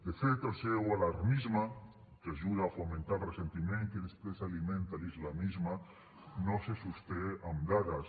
de fet el seu alarmisme que ajuda a fomentar el ressentiment que després alimenta l’islamisme no se sosté amb dades